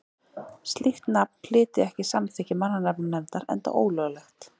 Slíkt nafn hlyti ekki samþykki mannanafnanefndar enda ólöglegt.